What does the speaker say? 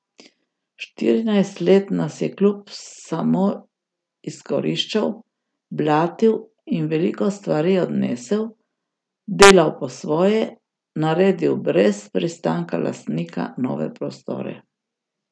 Štirinajst let nas je klub samo izkoriščal, blatil in veliko stvari odnesel, delal po svoje, naredil brez pristanka lastnika nove prostore...